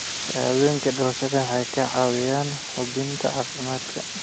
Shahaadooyinka dhalashada waxay kaa caawinayaan hubinta caafimaadka.